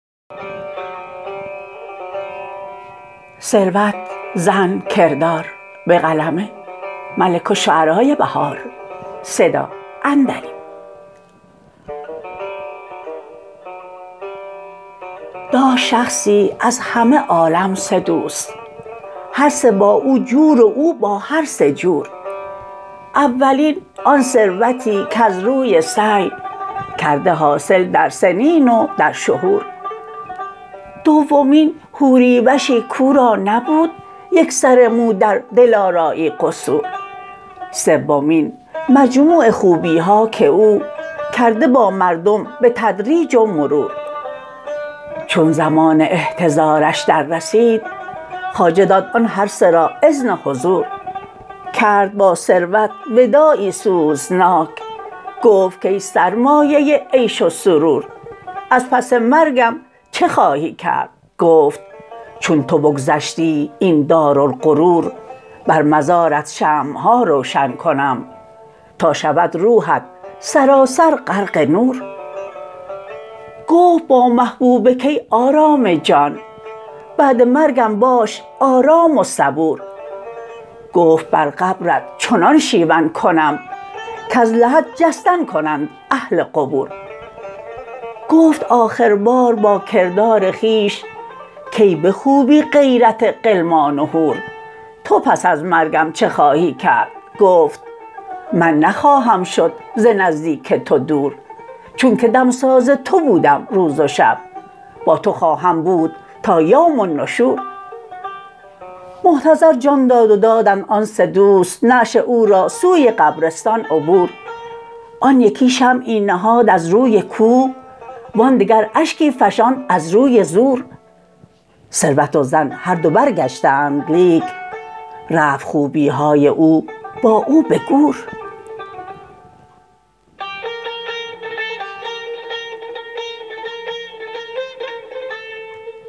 داشت شخصی از همه عالم سه دوست هرسه با او جور و او با هر سه جور اولین آن ثروتی کز روی سعی کرده حاصل در سنین و در شهور دومین حوری وشی کاو را نبود یک سر مو در دلارایی قصور سومین مجموع خوبی ها که او کرده با مردم به تدریج و مرور چون زمان احتضارش دررسید خواجه داد آن هر سه را اذن حضور کرد با ثروت وداعی سوزناک گفت کای سرمایه عیش و سرور از پس مرگم چه خواهی کرد گفت چون تو بگذشتی اپن دارالغرور بر مزارت شمع ها روشن کنم تا شود روحت سراسر غرق نور گفت با محبوبه کای آرام جان بعد مرگم باش آرام و صبور گفت بر قبرت چنان شیون کنم کزلحد جستن کنند اهل قبور گفت آخر بار با کردار خویش کای به خوبی غیرت غلمان وحور تو پس از مرگم چه خواهی کرد گفت من نخواهم شد ز نزدیک تو دور چون که دمساز تو بودم روز و شب با تو خواهم بود تا یوم النشور محتضر جان داد و دادند آن سه دوست نعش او را سوی قبرستان عبور آن یکی شمعی نهاد از روی کوه وان دگر اشکی فشاند از روی زور ثروت و زن هر دو برگشتند لیک رفت خوبی های او با او به گور